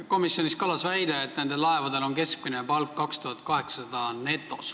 Komisjonis kõlas väide, et nendel laevadel on keskmine netopalk 2800 eurot.